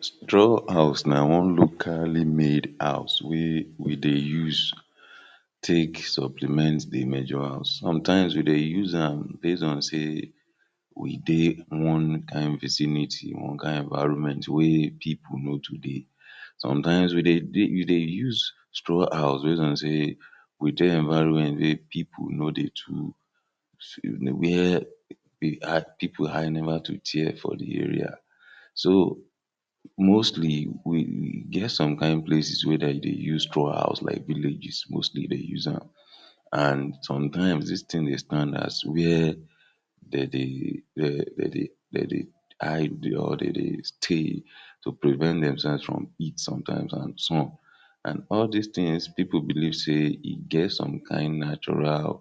Straw house na one locally made house wey we dey use take supplement dey major house. Sometimes we dey use am base on sey we dey one kain vicinity, one kain environment wey pipul no too dey. sometimes we dey we dey use straw house base on sey we dey environment wey people no dey too, where pipul eye never too tear for dey area. So, mostly we get some kain places where dem dey use straw houses like villages moslty dey use am and some times dis thing dey stand as where de dey where de dey de dey hide or de dey stay to prevent themselves from heat sometimes and sun. And all dis things pipul believe sey e get some kain natural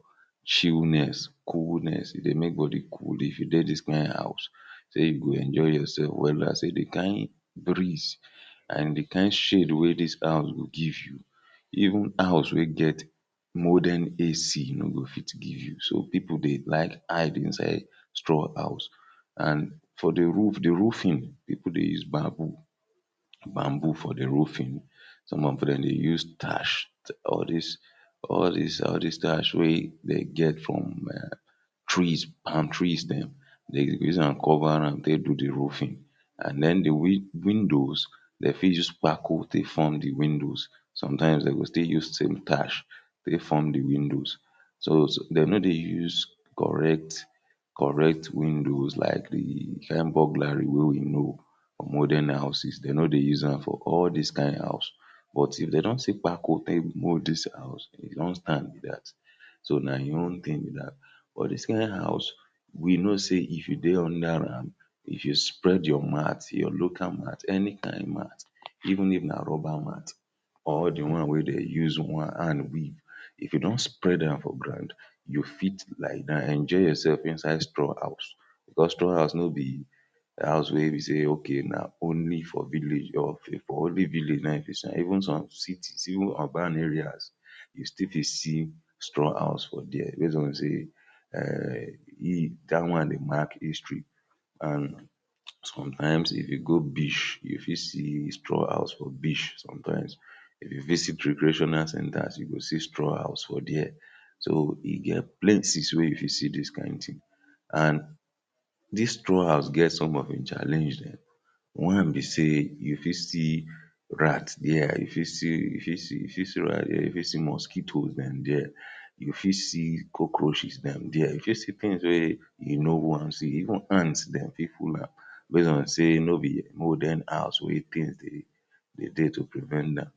chillness, coolness e dey make body cool if you dey dis kain house sey you go enjoy yourself wella, sey dey kain breeze and dey kain shade wey dis house go give you, even house wey get modern AC no go fit give you. So, pipu dey like hide inside straw house and for dey roof, dey roofing people dey use bambo, bambo for dey roofing, some of dem dey use thatch all dis all dis, all dis thatch wey dey get from um trees, palm trees dem, dey go use am cover am take do dey roofing. and then dey win windows, dem fit use kpako dey form dey windows, sometimes dey go stll use same thatch take form dey windows. So so, dem no dey use correct correct windows like dey kain burglary we know for modern houses, dey no dey use am for all dis kain house but if dey don see kpako take mould dis house, e don stand be dat. So na e own thing be dat, for dis kain house we know sey if you dey under am, if you spread your mat, your local mat any kain mat even if na rubber mat or the one wey dey use one hand weave, if you don spread am for ground, you fit lie down enjoy yourself for inside straw house. because straw house no be house wey be sey okay na only for village or okay for only village na im you fit see am, even some cities, even urban areas you still fit see straw house for dia base on sey[um] e that one dey mark history and sometimes if you go beach, you fit see straw house for beach sometimes if you visit recreational centers, you go see straw house for dia, so e get plenties wey you fit dis kain thing and dis straw house get some of im challenge dem. One be sey, you fit see rats dia, you fit see you fit see you fit see rats dia, you fit see mosquitoes dem dia, you fit see cockroaches dem there, you fit see things wey you no wan see even ants dem fit full am base on sey no be modern house wey things dey de dey to prevent am.